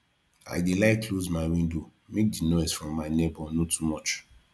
i dey like close my window make di noise from my nebor no too much